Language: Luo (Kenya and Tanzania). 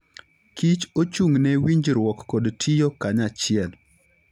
kich ochung'ne winjruok kod tiyo kanyachiel.